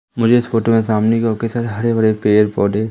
मुझे इस फोटो में सामने की ओर हरे भरे पेड़ पौधे--